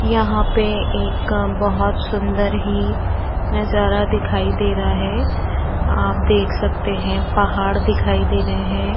यहां पे एक बोहोत सुंदर ही नजारा दीखाई देरा है आप देक सकते हैं पहाड दीखाई दे रहे हैं।